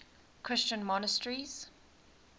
christian monasteries